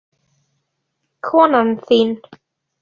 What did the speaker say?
Konan þín?